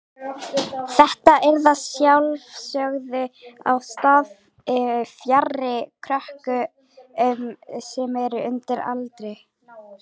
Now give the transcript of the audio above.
Þetta yrði að sjálfsögðu á stað fjarri krökkum sem eru undir aldri.